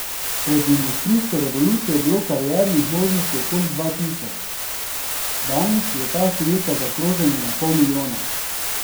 Pred industrijsko revolucijo je bilo kariernih možnosti okoli dva tisoč, danes je ta številka zaokrožena na pol milijona.